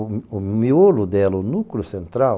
O miolo dela, o núcleo central,